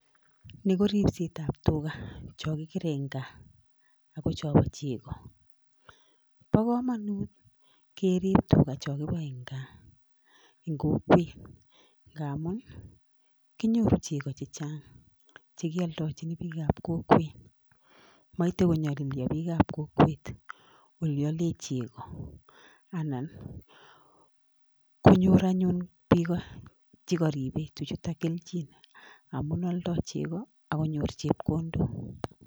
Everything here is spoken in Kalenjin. Ni ko ribsetab tuga cho kigere eng gaa ago chobo chego. Bo kamanut kerib tuga cho kiboe eng gaa eng kokwet ngamun, kinyoru chego chechang chekioldochin biikab kokwet. Maite konyolilyo biikab kokwet ole ale chego anan konyor anyun biko chikaribe tuchuto kelchin amu aldoi chego akonyor chepkondok.